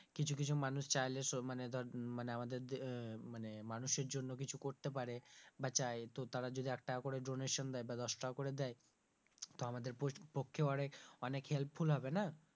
কিছু কিছু মানুষ চাইলে মানে ধর মানে আমাদের আহ মানে মানুষের জন্য কিছু করতে পারে বা চায় তো তারা যদি একটা করে donation দেয় বা দশ টাকা করে দেয় তো আমাদের পক্ষে অনেক helpful হবে না?